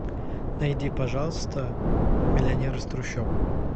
найди пожалуйста миллионер из трущоб